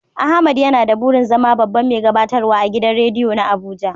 Ahmad yana da burin zama babban mai gabatarwa agidan rediyo na Abuja.